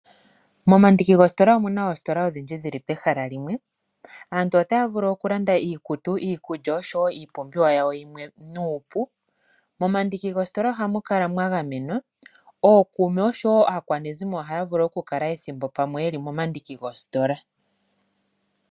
Momandiki goositola omu na oositola odhindji dhi li pehala limwe. Aantu otaya vulu okulanda iikutu, iikulya oshowo iipumbiwa yawo yimwe nuupu. Momandikki goositola ohamu kala mwa gamenwa. Ookuume oshowo aakwanezimo ohaya vulu okukala ethimbo pamwe ye li momandiki goositola.